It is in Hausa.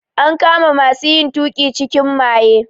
An kama masu yin tuƙin cikin maye.